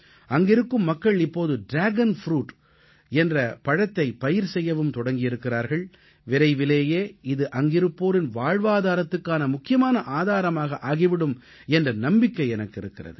அங்கிருக்கும் மக்கள் இப்போது டிராகன் ப்ரூட் என்ற பழத்தை பயிர் செய்யவும் தொடங்கியிருக்கிறார்கள் விரைவிலேயே இது அங்கிருப்போரின் வாழ்வாதாரத்துக்கான முக்கியமான ஆதாரமாக ஆகிவிடும் என்ற நம்பிக்கை எனக்கு இருக்கிறது